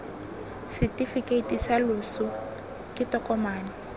setefikeiti sa loso ke tokomane